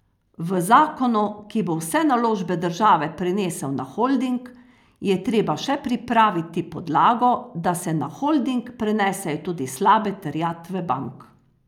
V zakonu, ki bo vse naložbe države prenesel na holding, je treba še pripraviti podlago, da se na holding prenesejo tudi slabe terjatve bank.